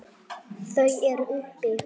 Þau eru uppi.